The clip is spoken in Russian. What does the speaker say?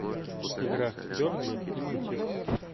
игра бернли и манчестер